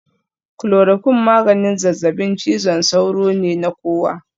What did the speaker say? Chloroquine maganin zazzabin cizon sauro ne na kowa